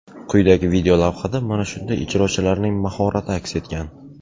Quyidagi videolavhada mana shunday ijrochilarning mahorati aks etgan.